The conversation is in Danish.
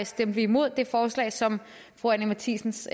stemte vi imod det forslag som fru anni matthiesens